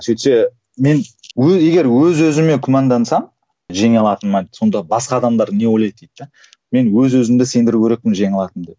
сөйтсе мен егер өз өзіме күмәндансам жеңе алатыныма сонда басқа адамдар не ойлайды дейді де мен өз өзімді сендіруім керекпін жеңе алатынымды деп